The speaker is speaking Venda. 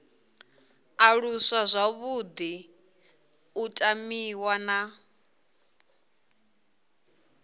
aluswa zwavhuḓi u tamiwa na